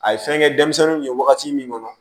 A ye fɛn kɛ denmisɛnninw ye wagati min kɔnɔ